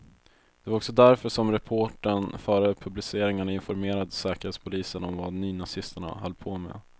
Det var också därför som reportern före publiceringarna informerade säkerhetspolisen om vad nynazisterna höll på med.